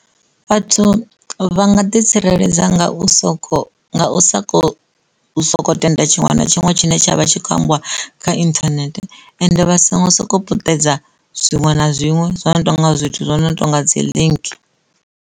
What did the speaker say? Vhathu vha nga ḓi tsireledza nga u soko u soko, soko tenda tshiṅwe na tshiṅwe tshine tsha vha tshi kho ambiwa kha internet ende vha songo sokou puṱedza zwiṅwe na zwiṅwe zwi no tonga zwithu zwino tonga dzi link.